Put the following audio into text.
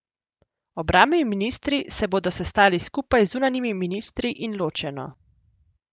Obrambni ministri se bodo sestali skupaj z zunanjimi ministri in ločeno.